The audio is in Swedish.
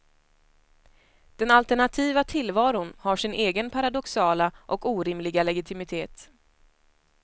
Den alternativa tillvaron har sin egen paradoxala och orimliga legitimitet.